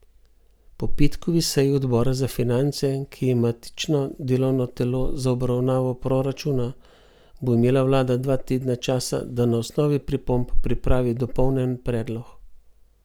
Po petkovi seji odbora za finance, ki je matično delovno telo za obravnavo proračuna, bo imela vlada dva tedna časa, da na osnovi pripomb pripravi dopolnjen predlog.